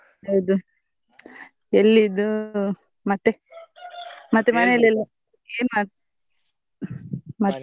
ಹೌದು ಎಲ್ಲಿ ಇದು ಮತ್ತೆ ಮತ್ತೆ ಮನೆಯಲ್ಲಿ ಎಲ್ಲಾ ಏನ್ .